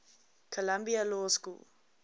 columbia law school